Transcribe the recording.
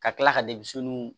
Ka tila ka